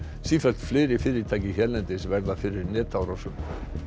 sífellt fleiri fyrirtæki hérlendis verða fyrir netárásum